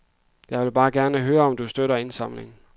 Jeg vil bare gerne høre om du støtter indsamlingen.